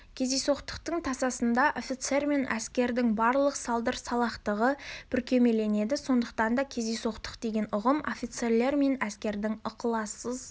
кездейсоқтықтың тасасында офицер мен әскердің барлық салдыр-салақтығы бүркемеленеді сондықтан да кездейсоқтық деген ұғым офицерлер мен әскердің ықылассыз